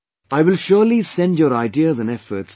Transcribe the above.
I will surely send your ideas and efforts to the people